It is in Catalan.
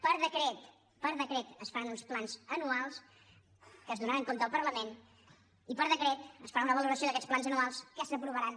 per decret per decret es faran uns plans anuals de què es donarà compte al parlament i per decret es farà una valoració d’aquests plans anuals que s’aprovaran